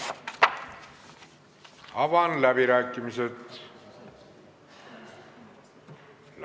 Avan läbirääkimised.